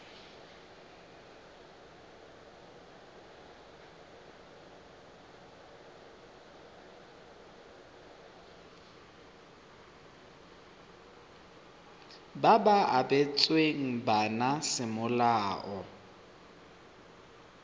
ba ba abetsweng bana semolao